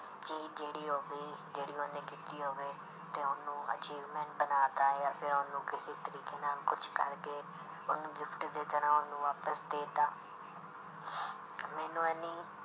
ਚੀਜ਼ ਜਿਹੜੀ ਉਹ ਵੀ ਜਿਹੜੀ ਉਹਨੇ ਕੀਤੀ ਹੋਵੇ ਤੇ ਉਹਨੂੰ achievement ਬਣਾ ਦਿੱਤਾ ਜਾ ਫਿਰ ਉਹਨੂੰ ਕਿਸੇ ਤਰੀਕੇ ਨਾਲ ਕੁਛ ਕਰਕੇ ਉਹਨੂੰ gift ਦੀ ਤਰ੍ਹਾਂ ਉਹਨੂੰ ਵਾਪਸ ਦੇ ਦਿੱਤਾ ਮੈਨੂੰ ਇੰਨੀ